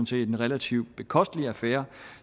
set en relativt bekostelig affære